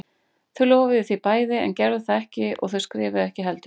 Þau lofuðu því bæði en gerðu það ekki og þau skrifuðu ekki heldur.